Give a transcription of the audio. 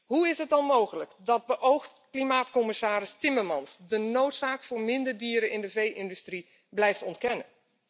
Hoe is het dan mogelijk dat beoogd klimaatcommissaris Timmermans de noodzaak van minder dieren in de vee industrie blijft ontkennen?